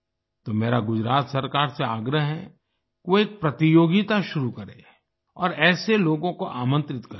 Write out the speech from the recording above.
तो मेरा गुजरात सरकार से आग्रह है कि वो एक प्रतियोगिता शुरू करे और ऐसे लोगों को आमंत्रित करे